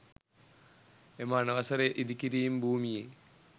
එම අනවසර ඉදිකිරිම් භූමියේ